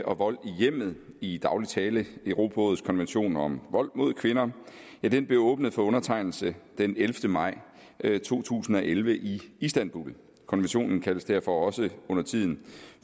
og vold i hjemmet i daglig tale europarådets konvention om vold mod kvinder blev åbnet for undertegnelse den ellevte maj to tusind og elleve i istanbul konventionen kaldes derfor også undertiden